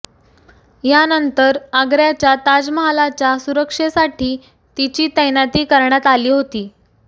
यानंतर आग्र्याच्या ताजमहालाच्या सुरक्षेसाठी तिची तैनाती करण्यात आली होती